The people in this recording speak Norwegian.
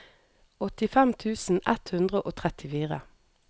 åttifem tusen ett hundre og trettifire